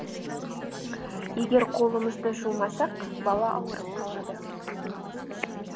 егер қолымызды жумасақ бала ауырып қалады